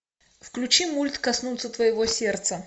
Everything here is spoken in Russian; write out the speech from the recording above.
включи мульт коснуться твоего сердца